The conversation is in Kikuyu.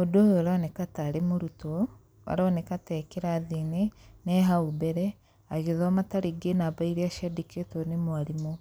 Ũndũ ũyũ ũroneka tarĩ mũrutwo, aroneka ta ee kĩrathi-inĩ, na ee hau mbere, agĩthoma tarĩngĩ namba irĩa ciandĩkĩtwo nĩ mwarimũ.